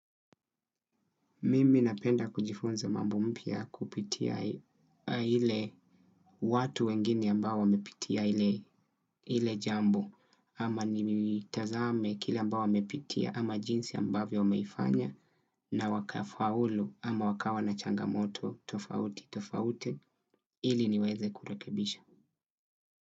Mimi napenda kujifunza mambo mpya kupitia ile watu wengine ambao wamepitia ile jambo, ama ni tazame kila ambayo wamepitia, ama jinsi ambavyo wameifanya, na waka faulu, ama wakawa na changamoto tofauti tofauti, ili niweze kurekebisha.